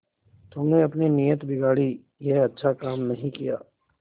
तुमने अपनी नीयत बिगाड़ी यह अच्छा काम नहीं किया